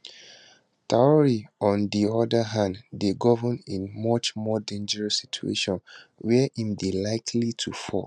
traor on di oda hand dey govern in a much more dangerous situation wia im dey likely to fall